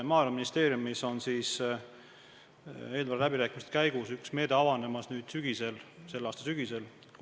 Maaeluministeeriumis on eelarveläbirääkimiste käigus üks meede avanemas selle aasta sügisel.